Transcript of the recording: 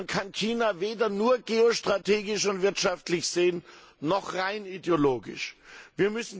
Man kann China weder nur geostrategisch und wirtschaftlich noch rein ideologisch sehen.